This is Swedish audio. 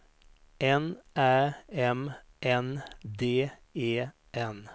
N Ä M N D E N